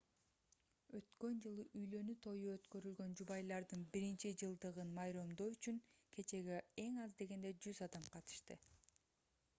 өткөн жылы үйлөнүү тою өткөрүлгөн жубайлардын биринчи жылдыгын майрамдоо үчүн кечеге эң аз дегенде 100 адам катышты